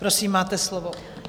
Prosím, máte slovo.